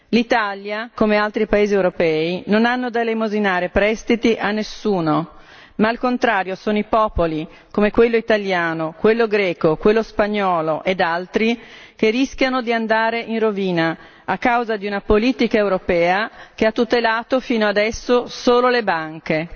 L'Italia come altri paesi europei non ha da elemosinare prestiti a nessuno ma, al contrario, sono i popoli, quello italiano, quello greco, quello spagnolo ed altri, che rischiano di andare in rovina a causa di una politica europea che ha tutelato fino adesso solo le banche.